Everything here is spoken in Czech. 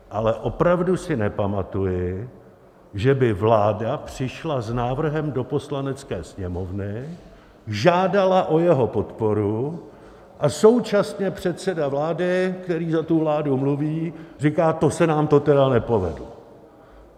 Ale opravdu si nepamatuji, že by vláda přišla s návrhem do Poslanecké sněmovny, žádala o jeho podporu, a současně předseda vlády, který za tu vládu mluví, říká: To se nám to tedy nepovedlo.